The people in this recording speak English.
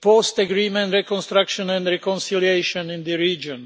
post agreement reconstruction and reconciliation in the region.